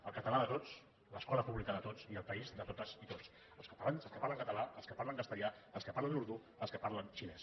el català de tots l’escola pública de tots i el país de totes i tots els catalans els que parlen català els que parlen castellà els que parlen urdú els que parlen xinès